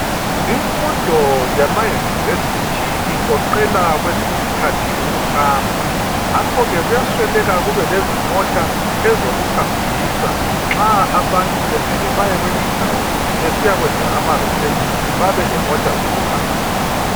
Imfundo yama University igoqela kwesinye isikhathi ukuhamba, ngakho-ke kuyasweleka kube lezimota ezokuhambisa, nxa abantu bemele baye kweyinye indawo besiyakwenza ama research babe lemota zokuhambisa.